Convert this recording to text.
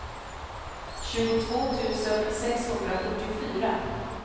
tjugotvå tusen sexhundrafyrtiofyra